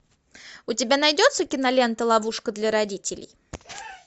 у тебя найдется кинолента ловушка для родителей